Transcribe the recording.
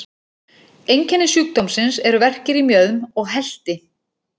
Einkenni sjúkdómsins eru verkir í mjöðm og helti.